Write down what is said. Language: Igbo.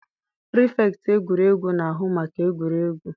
pirifektị egwuregwu na-ahụ maka egwuregwu.